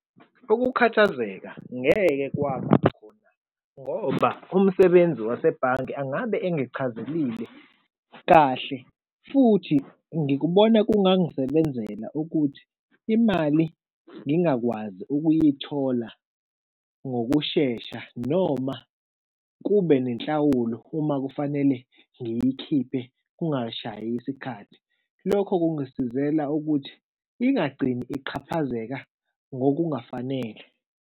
Ukukhathazeka ngeke kwaba khona ngoba umsebenzi wasebhange angabe engichazelile kahle futhi ngikubona kungangisebenzela ukuthi imali ngingakwazi ukuyithola ngokushesha noma kube nenhlawulo uma kufanele ngiyikhiphe kungashayi isikhathi. Lokho kungisizele ukuthi ingagcini iqhaphazeka ngokungafanele.